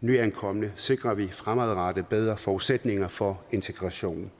nyankomne sikrer vi fremadrettet bedre forudsætninger for integrationen